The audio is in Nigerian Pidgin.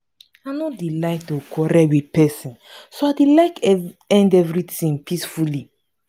i no dey like to quarrel with person so i dey like to end everything peacefully